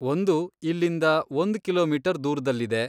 ಒಂದು ಇಲ್ಲಿಂದ ಒಂದ್ ಕಿಲೋಮೀಟರ್ ದೂರ್ದಲ್ಲಿದೆ.